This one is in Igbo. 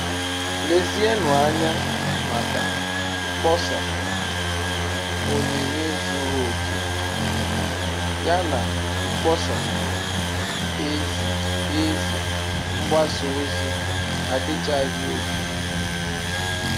Lezienụ anya maka mkpọsa 'Onyinye zuru oke' yana mkpọsa ‘ Ezi Ezi mgbasa ozi adịchaghị oke